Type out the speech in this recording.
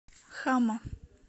хама